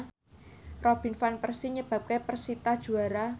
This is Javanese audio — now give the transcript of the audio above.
Robin Van Persie nyebabke persita juara